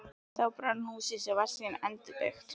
Þá brann húsið, en var síðan endurbyggt.